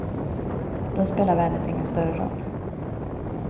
Då spelar vädret ingen större roll.